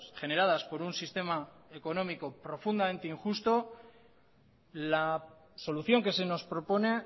generadas por un sistema económico profundamente injusto la solución que se nos propone